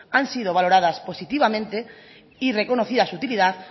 han sido valoradas positivamente y reconocida su utilidad